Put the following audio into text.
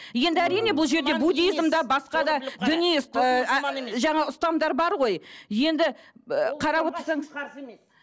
енді әрине бұл жерде буддизм де басқа да діни жаңа ұстамдар бар ғой енді ы қарап отырсаңыз